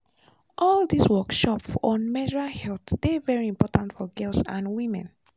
all these workshop on menstrual health dey very important for girls and women.